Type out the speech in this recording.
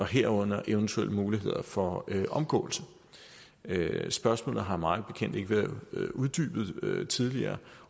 herunder eventuelle muligheder for omgåelse spørgsmålet har mig bekendt ikke været uddybet tidligere